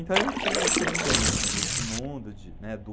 Então eu tinha essa vivência desse mundo, de, né, do